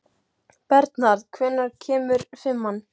Bernharð, hvenær kemur fimman?